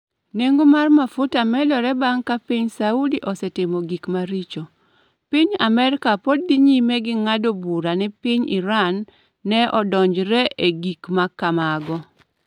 Nengo mar mafuta medore bang’ ka piny Saudi osetimo gik maricho, piny Amerka pod dhi nyime gi ng’ado bura ni piny Iran ne odonjore e gik ma kamago.